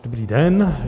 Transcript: Dobrý den.